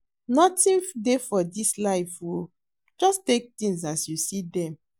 Nothing dey for dis life oo, just take things as you see dem.